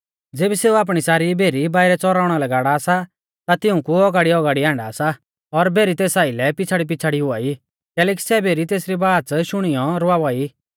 ज़ेबी सेऊ आपणी सारी भेरी बाइरै च़ौराउणा लै गाड़ा सा ता तिऊंकु औगाड़ीऔगाड़िऐ आण्डा सा और भेरी तेस आइलै पिछ़ाड़ीपिछ़ाड़ी हुआई कैलैकि सै भेरी तेसरी बाच़ शुणीयौ रवावा ई